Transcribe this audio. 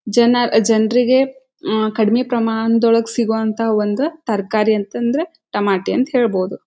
ಜನ ಜನರಿಗೆ ಅಹ್ ಕಡಿಮೆ ಪ್ರಮಾಣ ದೊಳಗೆ ಸಿಗುವಂತ ಒಂದು ತರಕಾರಿ ಅಂತ ಅಂದ್ರೆ ಟಮಾಟೆ ಅಂತ ಹೇಳ್ಬೋದು.